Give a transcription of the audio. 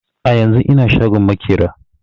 A yanzun ina shagon maƙera